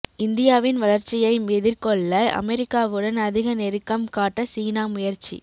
இந்தியாவின் வளர்ச்சியை எதிர்கொள்ள அமெரிக்காவுடன் அதிக நெருக்கம் காட்ட சீனா முயற்சி